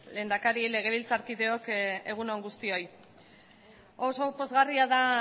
lehendakari legebiltzarkideok egun on guztioi oso pozgarria da